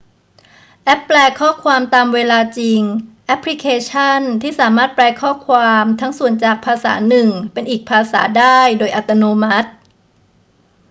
แอปแปลข้อความตามเวลาจริง แอปพลิเคชั่นที่สามารถแปลข้อความทั้งส่วนจากภาษาหนึ่งเป็นอีกภาษาได้โดยอัตโนมัติ